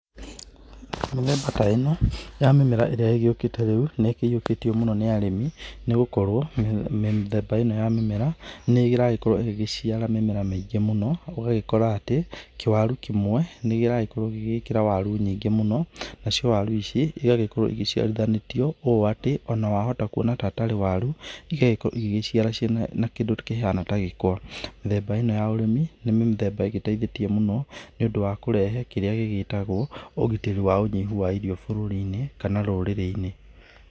Mĩthemba ta ĩno ya mĩmera ĩrĩa ĩgĩũkĩte rĩu rĩũ nĩkĩũkĩtio mũno nĩ arĩmi nĩgũkorwo mĩthemba ĩno ya mĩmera nĩragĩkorwo ĩgĩciara mĩmera mĩingĩ mũno ũgagĩkora atĩ, kĩwaru kĩmwe nĩkĩrakorwo gĩgĩkĩra kĩwaru nyingĩ mũno, nacio waru ici igagĩkorwo iciarithanĩtio ũ atĩ onawahota kũona ta tarĩ waru igagĩkorwo ĩgĩciara kĩndũ kĩhana ta gĩkwa, mĩthemba ĩno ya ũrĩmi nĩ mĩthemba ĩgĩteithĩtie mũno nĩũndu wa kũrehe kĩrĩa gĩtagwo ũgitĩri wa ũnyihu wa irio bũrũrinĩ kana rũrĩrĩinĩ.